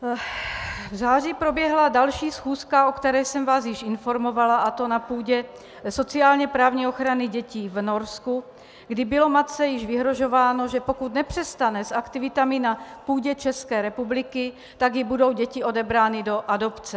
V září proběhla další schůzka, o které jsem vás již informovala, a to na půdě sociálně-právní ochrany dětí v Norsku, kdy bylo matce již vyhrožováno, že pokud nepřestane s aktivitami na půdě České republiky, tak jí budou děti odebrány do adopce.